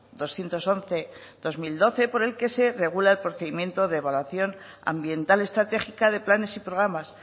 doscientos once barra dos mil doce por el que se regula el procedimiento de evaluación ambiental estratégica de planes y programas